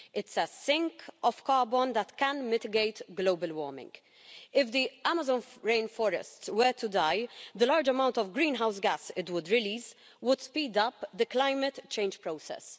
It's a carbon sink that can mitigate global warming. If the Amazon rainforest were to die, the large amount of greenhouse gas it would release would speed up the climate change process.